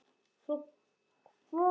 Svo kvaddi mamma líka.